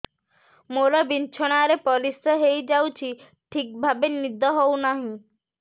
ମୋର ବିଛଣାରେ ପରିସ୍ରା ହେଇଯାଉଛି ଠିକ ଭାବେ ନିଦ ହଉ ନାହିଁ